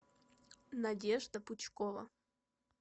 надежда пучкова